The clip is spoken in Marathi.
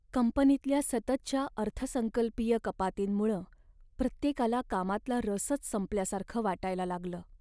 कंपनीतल्या सततच्या अर्थसंकल्पीय कपातींमुळं प्रत्येकाला कामातला रसच संपल्यासारखं वाटायला लागलं.